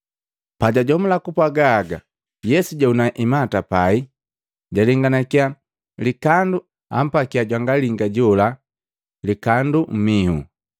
Pajajomula kupwaga haga, Yesu jahuna imata pai, jalenganakiya likandu, ampakia jwanga linga jola likandu mmiho.